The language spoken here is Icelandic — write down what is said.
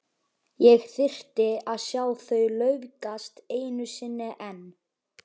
Ég þyrfti að sjá þau laufgast einu sinni enn.